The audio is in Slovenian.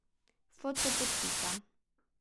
Foto podpisa.